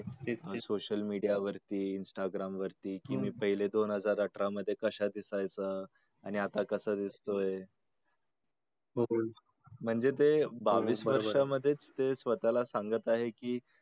ते social media वरती, instagram वरती कि मी पहिल दोन हजार अठरा मध्ये कश्या दिसायचा आणि आता कसा दिसतोय म्हणजे ते बावीस वर्षा मधेच स्वतःला सांगत आहे की